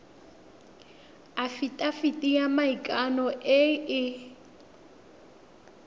afitafiti ya maikano e e